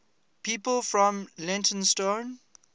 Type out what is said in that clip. people from leytonstone